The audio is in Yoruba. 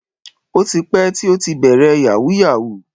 O ti pẹ́ tí ó ti bẹ̀rẹ̀ yahoo yahoo.